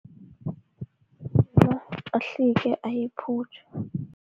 ahlike ayiphutjhe.